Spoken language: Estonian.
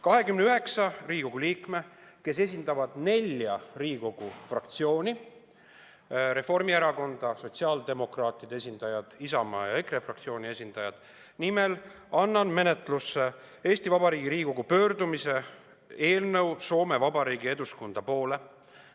29 Riigikogu liikme nimel, kes esindavad nelja Riigikogu fraktsiooni – Reformierakonna, sotsiaaldemokraatide, Isamaa ja EKRE fraktsiooni – annan menetlusse Eesti Vabariigi Riigikogu pöördumise Soome Vabariigi Eduskunta poole eelnõu.